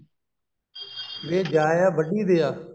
ਵੇ ਜਾਇਆ ਵੱਡੀ ਦੇ ਆ